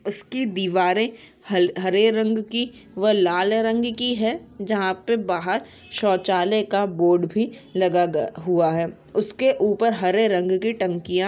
इसकी दीवारें ह-हरे रंग की व लाल रंग की है जहाँ पे बाहर शौचालय का बोर्ड भी लगा गय-हुआ है। उसके ऊपर हरे रंग की टंकियां --